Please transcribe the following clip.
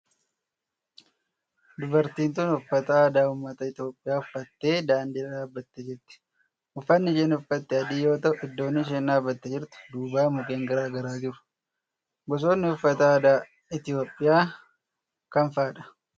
Dubartiin tun uffata aadaa ummata Itiyoophiyaa uffattee daandii irra dhaabbattee jirti. Uffanni isheen uffatte adii yoo ta'u Iddoon isheen dhaabbattee jirtu duuba mukkeen garaa garaa jiru. Gosootni uffata aadaa Itiyoophiyaa kam fa'aadha?